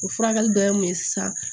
O furakɛli dɔ ye mun ye sisan